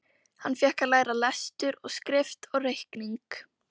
Hann fékk að læra lestur og skrift og reikning.